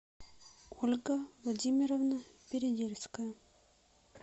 ольга владимировна передельская